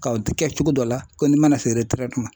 Ka o tikɛ cogo dɔ la, ko ni mana se ma.